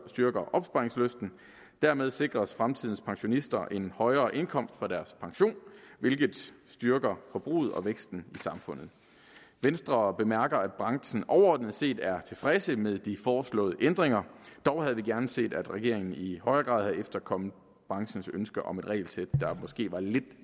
styrker opsparingslysten dermed sikres fremtidens pensionister en højere indkomst fra deres pension hvilke styrker forbruget og væksten i samfundet venstre bemærker at branchen overordnet set er tilfreds med de foreslåede ændringer dog havde vi gerne se at regeringen i højere grad havde efterkommet branchens ønsker om et regelsæt der måske var lidt